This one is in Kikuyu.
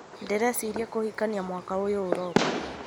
ndĩ recĩria kũhikania mwaka ũyũ ũroka.